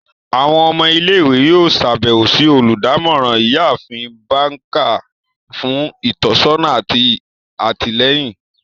Awọn ọmọ ile-iwe yoo ṣabẹwo si oludamoran, Iyaafin Baker, fun itọsọna ati atilẹyin.